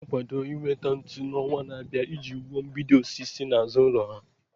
Ha na-akwado inweta ntu n'ọnwa na-abịa iji wuo mgbidi osisi n'azụ ụlọ ha.